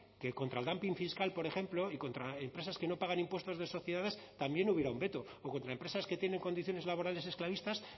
que contra el dumping fiscal por ejemplo y contra empresas que no pagan impuestos de sociedades también hubiera un veto o contra empresas que tienen condiciones laborales esclavistas